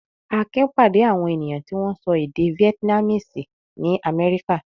Akin pàdé àwọn ènìyàn tí wọ́n ń sọ èdè Vietnamese nií Amẹ́ríkà.